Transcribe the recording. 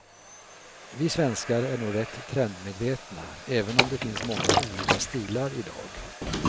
Vi svenskar är nog rätt trendmedvetna även om det finns många olika stilar i dag.